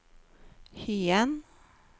Hyen